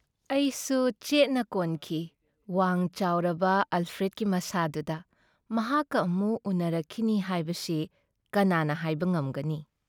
ꯑꯩꯁꯨ ꯆꯦꯠꯅ ꯀꯣꯟꯈꯤ ꯋꯥꯡ-ꯆꯥꯎꯔꯕ ꯑꯜꯐ꯭ꯔꯦꯗꯀꯤ ꯃꯁꯥꯗꯨꯗ ꯃꯍꯥꯛꯀ ꯑꯃꯨꯛ ꯎꯅꯔꯛꯈꯤꯅꯤ ꯍꯥꯏꯕꯁꯤ ꯀꯅꯥꯅ ꯍꯥꯏꯕ ꯉꯝꯒꯅꯤ ?